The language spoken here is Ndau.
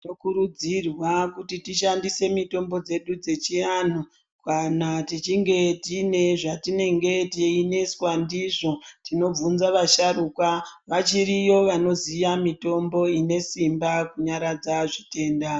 Tinokurudzirwa kuti tishandise mitombo dzedu dzechianhu kana tichinge tine zvatinenge teineswa ndizvo tinobvunza vasharukwa. Vachiriyo vanoziya mitombo ine simba kunyaradza zvitenda.